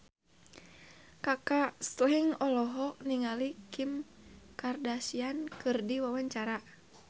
Kaka Slank olohok ningali Kim Kardashian keur diwawancara